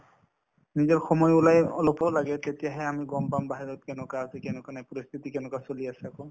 নিজৰ সময় ওলাই অলপো লাগে তেতিয়াহে আমি গম পাম বাহিৰত কেনেকুৱা আছে কেনেকুৱা নাই প্ৰস্তুতি কেনেকুৱা চলি আছে আকৌ